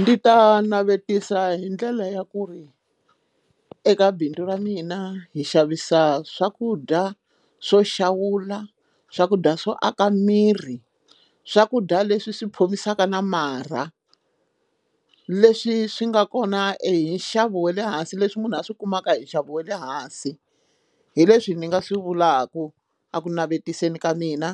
Ndi ta navetisa hi ndlela ya ku ri eka bindzu ra mina hi xavisa swakudya swo xawula swakudya swo aka miri swakudya leswi swi phomisaka na marha leswi swi nga kona e hi nxavo wa le hansi leswi munhu a swi kumaka hi nxavo wa le hansi hi leswi ni nga swi vulaku eku navetiseni ka mina